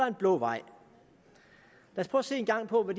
en blå vej lad os en gang prøve at